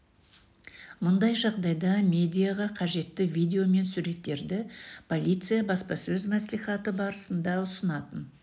мұндай жағдайда медиаға қажетті видео мен суреттерді полиция баспасөз мәслихаты барысында ұсынатын